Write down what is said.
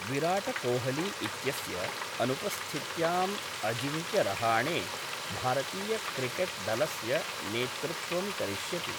विरोटकोहली इत्यस्य अनुपस्थित्यां अजिंक्यरहाणे भारतीय'क्रिकेट्' दलस्य नेतृत्वं करिष्यति।